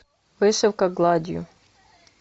вышивка гладью